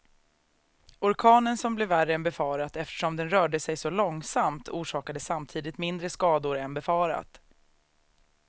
Orkanen som blev värre än befarat eftersom den rörde sig så långsamt, orsakade samtidigt mindre skador än befarat.